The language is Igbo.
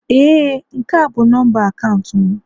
Ee, nke a bụ nọmba akaụntụ m